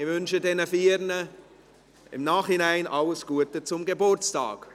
Ich wünsche diesen Vieren im Nachhinein alles Gute zum Geburtstag.